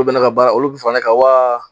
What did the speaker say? Olu bɛɛ n'a ka baara olu bi fara ne kan waa?